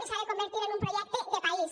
i s’ha de convertir en un projecte de país